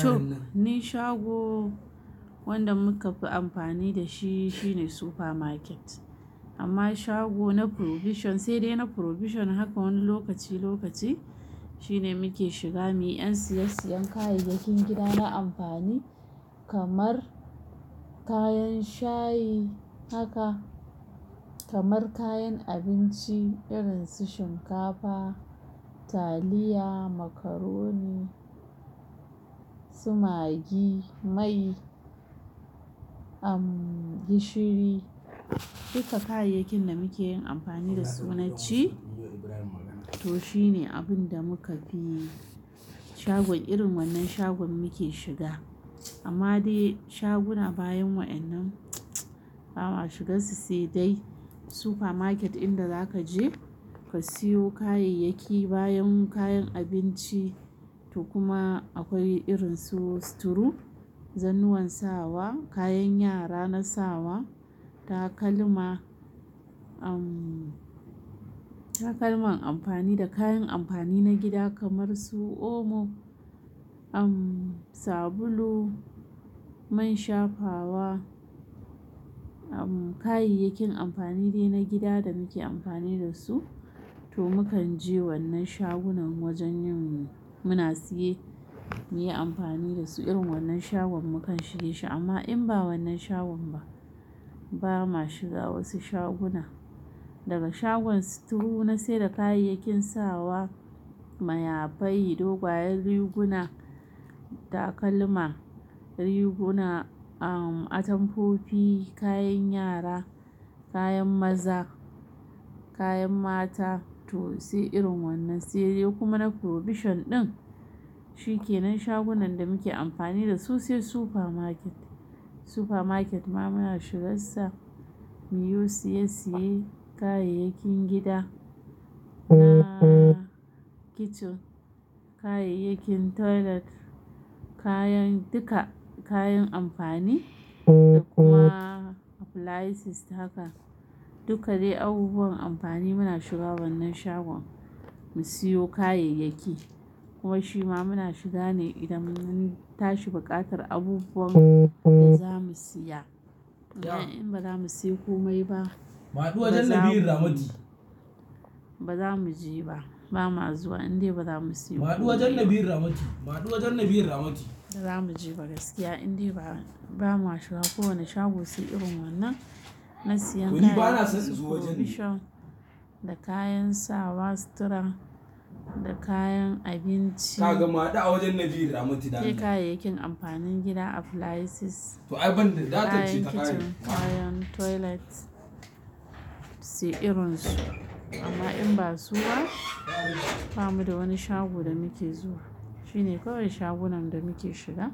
To, ni shago wanda muka fi amfani da shi shine supermarket amma shago na provision sai dai na provision haka wani lokaci lokaci shine muke shiga muyi yan siyan kayayyakin gida na amfani kamar kayan shayi haka kamar kayan abinci irin su shinkafa, taliya, macaroni, sumagi, mai, gishiri duka kayayyakin da muke yin amfani da su naci to shine abin da muka bi shagon irin wannan shagon muke shiga amma dai shaguna bayan wa'yannan ba ma shiga su sai dai supermarket inda za ka je ka siyo kayayyaki bayan kayan abinci to kuma akwai irin su sittru zannuwan sawa, kayan yara na sawa, takalma takalman amfani da kayan amfani na gida kamar su omo sabulu, man shafawa kayayyakin amfani dai na gida da muke amfani da su to mu kan je wannan shagunan wajen yin muna siye muyi amfani da su irin wannan shagon mu kan shige shi amma in ba wannan shagon ba ba ma shiga wasu shaguna daga shagon store na sai da kayayyakin sawa, mayafai, dogwayen riguna, takalma, riguna um atamfofi, kayan yara, kayan maza, kayan mata to sai irin wannan sai dai kuma na provision ɗin shi kenan shagunan da muke amfani da su sai supermarket, supermarket ma muna shiga sa muyi siye siye kayayyakin gida na kitchen kayayyakin toilet kayan duka kayan amfani da kuma appliances haka duka dai abubuwan amfani muna shiga wannan shagon mu siyo kayayyaki kuma shi ma muna shiga ne idan mun tashi baƙatar abubuwan da za mu siya in ba za mu siyo komai ba ba za mu je ba za mu je ba ba ma zuwa in dai ba za mu siyo komai ba za mu je gaskiya in dai ba ma shiga kowane shago sai irin wannan na siyan kayan provision da kayan sawa store da kayan abinci kai kayayyakin amfanin gida appliances kayan kitchen kayan toilet sai irinsu amma in ba su ba ba mu da wani shago da muke zuwa shi ne kawai shagunan da muke shiga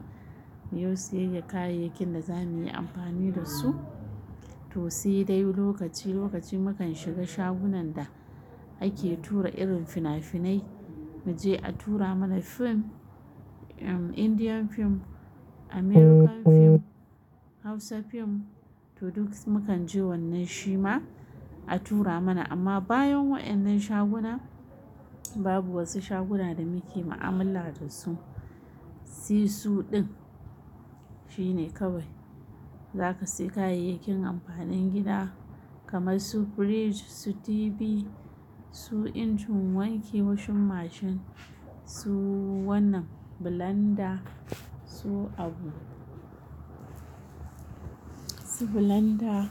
muyi siyar kayayyakin da za muyi amfani da su to sai dai lokaci lokaci mu kan shiga shagunan da ake tura irin fina-finai mu je a tura mana fim Indian fim, American fim, Hausa fim to duk mu kan je wannan shi ma a tura mana amma bayan wa'annan shaguna babu wasu shaguna da muke ma'amala da su sai su ɗin shi ne kawai za ka sai kayayyakin amfanin gida kamar su fridge, su TV, su injin wanki, wasu mashin su wannan blender su abu su blender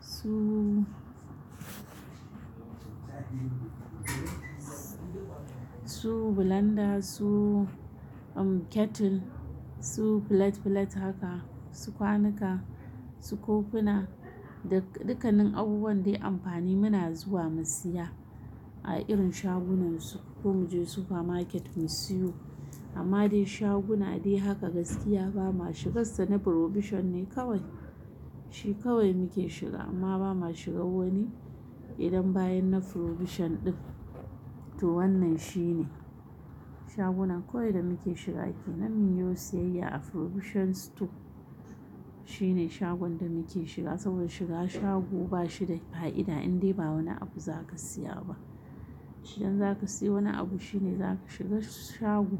su su blender su kettle su plate plate haka su kwanuka su kofuna da dukkanin abubuwan dai amfani muna zuwa mu siya a irin shagunan su ko mu je supermarket mu siyo amma dai shaguna dai haka gaskiya ba ma shiga su sai na provision ne kawai shi kawai muke shiga amma ba ma shiga wani idan bayan na provision ɗin to wannan shi ne shagunan kawai da muke shiga ke nan muyi siyar a provision store shi ne shagon da muke shiga saboda shiga shago ba shi da fa'ida in dai ba wani abu za ka siya ba idan za ka siyo wani abu shi ne za ka shiga shago.